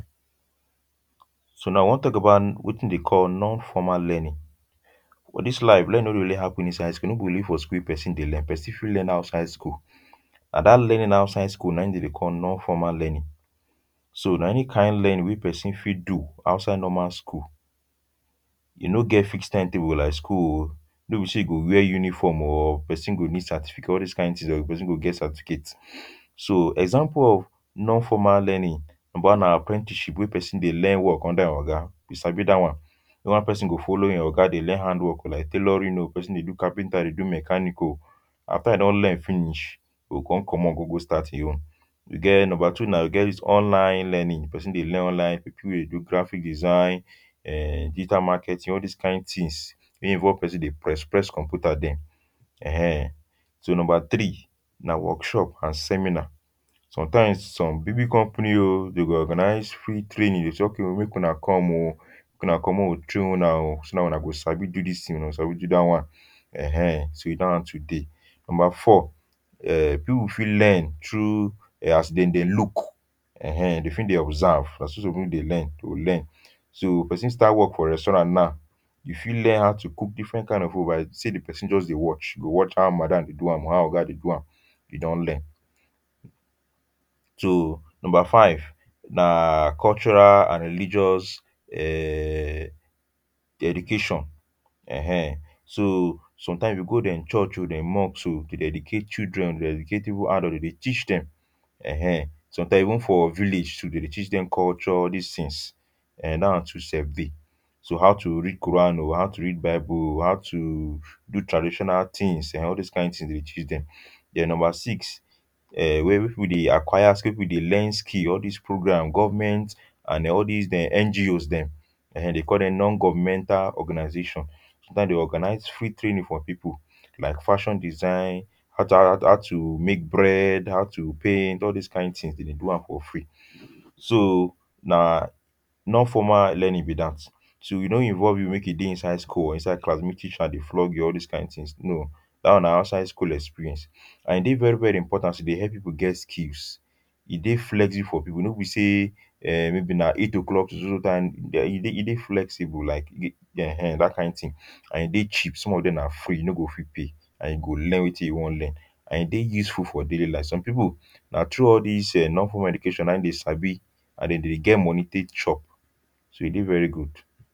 so now we wan talk about wetin dey call non-formal learning. for this life learning no dey only happen inside school, no be only for school wey person dey learn, person fit learn outside school and that learning outside school na e dem dey call non-formal learning so na any kind learning wey person fit do outside normal school, e no get fix timetable like school o no be say you go wear uniform o or person go need certificate all this kind things or person go get certificate. so example of non formal learning, number one na apprentiship wey person dey learn work under e oga, you sabi that one. the one person go follow e oga dey learn handwork o like tailoring o, person dey do capenter dey do mechanic o after e don learn finish go come commot go go start in own. we get, number two na we get this online learning. the person dey learn online, people wey do graphic design, um digital marketing all this kind things weh involve person dey press press computer them um. so number three na workshop and seminar. sometimes some big big companies o dey go organise free training them say okay o make una come o. make una come o may we train una o so that una go sabi do this thing una go sabi do that one. en he so that one too dey. number four um people fit learn through um as them dem look. eneh dem fit dey observe na so some people dey learn go learn. so person start work for resturant now, e fit learn how to cook different kind of food by say the person just dey watch go watch how madam dey do am or how oga dey do am e don learn. so number five na cultural and religious um dedication. en eh, so sometimes you go them church o dem mosque o dey dedicate children dedicate, even adult them dey teach them en eh sometimes even for village too dem dey teach dem culture all this things [um]that one too sef dey. so how to read koran o, how to read bible o, how to do traditional things ehen all those kind things them dey teach them. the number six um wey we dey acquire ski where we dey learn skill all these programme, government and all these dem NGO's dem en eh dem call them Non Governmental Organization now they organise free training for people like fashion design how to how how to make bread, how to paint, all those kind things them dey do am for free. so na non formal learning be that. so e no involve you make you dey inside school or inside class make teacher dey flog you or all this kind things no, that one na outside school experience, and e dey very very important to de help people get skills. e dey flexible for people no be say[um]maybe na eight O'clock so so time e dey e dey flexible like g...[um] that kind thing and e dey cheap some of them na free you no go even pay and you go learn wetin you wan learn and e dey useful for daily life. some people na through all these um non formal education na in them sabi and them dey get money take chop. so e dey very good.